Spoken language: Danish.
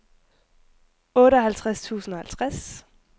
otteoghalvtreds tusind og halvtreds